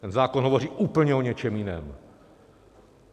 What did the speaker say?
Ten zákon hovoří úplně o něčem jiném.